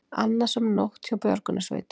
Annasöm nótt hjá björgunarsveitum